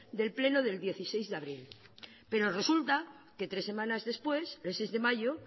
del pleno del dieciséis de abril pero resulta que tres semanas después el seis de mayo